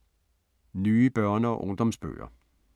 Nye børne- og ungdomsbøger